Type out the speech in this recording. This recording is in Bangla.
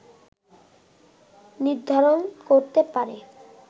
নির্ধারণ করতে পারে